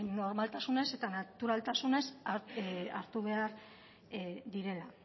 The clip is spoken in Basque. normaltasunez eta naturaltasunez hartu behar direla